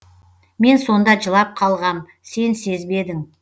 мен сонда жылап қалғам сен сезбедің